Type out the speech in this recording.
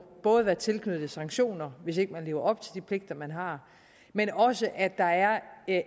være tilknyttet sanktioner hvis man ikke lever op til de pligter man har men også at der er